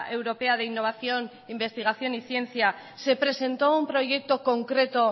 europea de innovación investigación y ciencia se presentó un proyecto concreto